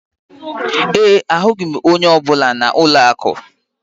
ee, ahụghị m onye ọ bụla na ụlọ akụ